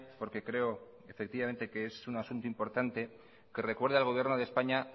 porque creo que es un asunto importante que recuerde al gobierno de españa